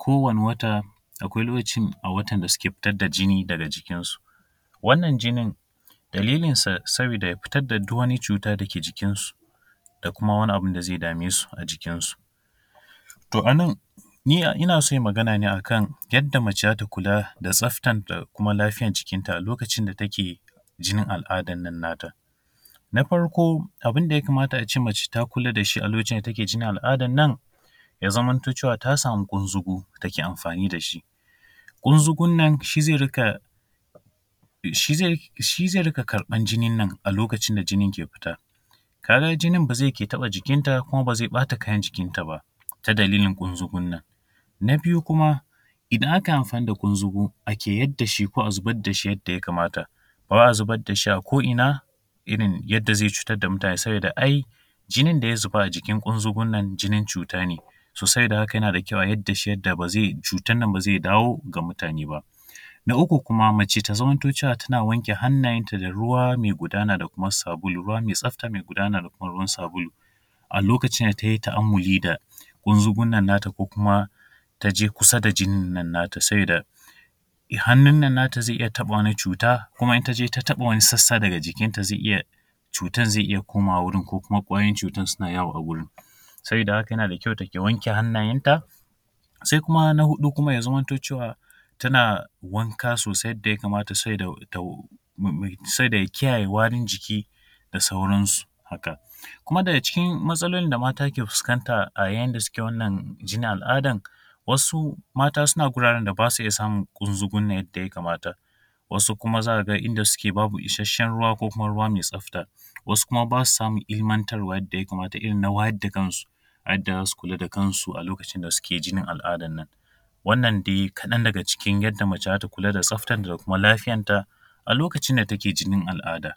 Kowane wata, akwai lokacin a watan da suke fitar da jini daga jikinsu. Wannan jinin, dalilinsa saboda ya fitar da duk wani cuta da ke jikinsu da kuma wani abin da zai dame su a jikinsu. To a nan, ni ina so in yi magana ne a kan yadda mace za ta kula da tsaftan da kuma lafiyan jikinta a lokacin da take jinin al’adan nan nata. Na farko, abin da ya kamata a ce mace ta kula da shi a lokacin da take jinin al’adan nan, ya zamanto cewa ta samu ƙunzugu, take amfani da shi. Ƙunzugun nan shi zai riƙa shi zai riƙa karɓan jinin nan, a lokacin da jinin ke fita. Ka ga jinin ba zai ke taɓa jikinta kuma ba zai ɓata kayan jikinta ba, ta dalilin ƙunzugun nan. Na biyu kuma, idan aka yi amfani da ƙunzugu, ake yar da shi ko ake zubar da shi ko yadda ya kamata, ba wai a zubar da shi ko ina, irin yadda zai cutar da mutane, saboda ai jinin da ya zuba a jikin ƙunzugun nan, jinin cuta ne. So, saboda haka yana da kyau a zubar da shi yadda ba zai, cutan nan ba zai dawo ga mutane ba. Na uku kuma, mace ta zamanto cewa tana wanke hannayenta da ruwa mai gudana da kuma sabulu, ruwa mai tsafta mai gudana da kuma ruwan sabulu. A lokacin da ta yi ta’ammuli da ƙunzugun nan nata ko kuma ta je kusa da jinin nan nata sabida hannun nan nata zai iya taɓa wani cuta kuma in ta je ta taɓa wani sassa daga jikinta zai iya, cutan zai iya komawa wurin ko kuma ƙwayoyin cutan suna yawo a wurin. Sabida haka yana da kyau take wanke hannayenta. Sai kuma na huɗu kuma ya zamanto cewa tana wanka sosai yadda ya kamata, saboda kiyaye warin jiki da sauransu haka. Kuma daga cikin matsalolin da mata ke fuskanta a yayin da suke wannan jinin al’adan, wasu mata suna gudanar da ba su samun ƙunzugun nan yadda ya kamata. Wasu kuma za ka ga inda suke babu isasshen ruwa ko kuma ruwa mai tsafta. Wasu kuma ba su samun ilimantarwa yadda ya kamata, irin na wayar da kansu a yadda za su kula da kansu a lokacin da suke jinin al’adan nan. Wannan dai kaɗan daga cikin yadda mace za ta kula da tsaftanta da kuma lafiyanta, a lokacin da take jinin al’ada.